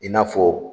I n'a fɔ